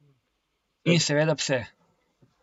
In seveda pse.